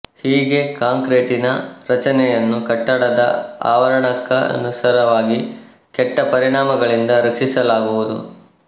ಹೀಗೆ ಕಾಂಕ್ರೀಟಿನ ರಚನೆಯನ್ನು ಕಟ್ಟಡದ ಆವರಣಕ್ಕನುಸಾರವಾಗಿ ಕೆಟ್ಟ ಪರಿಣಾಮಗಳಿಂದ ರಕ್ಷಿಸಲಾಗುವುದು